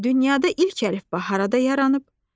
Dünyada ilk əlifba harada yaranıb?